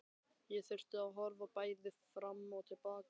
Ég þurfti að horfa bæði fram og til baka.